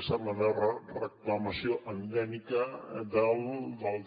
ha estat la meva reclamació endèmica del